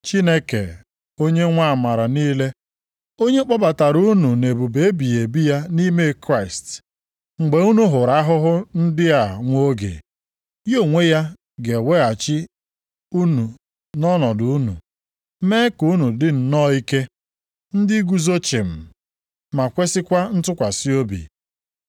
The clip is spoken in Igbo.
Chineke onye nwe amara niile, onye kpọbatara unu na ebube ebighị ebi ya nʼime Kraịst, mgbe unu hụrụ ahụhụ ndị a nwa oge, ya onwe ya ga-eweghachi unu nʼọnọdụ unu, mee ka unu dị nnọọ ike, ndị guzo chịm ma kwesikwa ntụkwasị obi.